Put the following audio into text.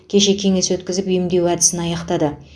кеше кеңес өткізіп емдеу әдісін аяқтады